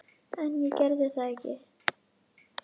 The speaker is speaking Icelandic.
En ég geri það ekki.